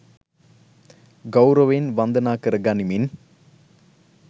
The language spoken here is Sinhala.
ගෞරවයෙන් වන්දනා කර ගනිමින්